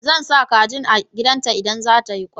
Zan sa kajin a gidan ta in za ta yi kwai